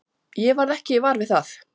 Ég varð ekki var við það.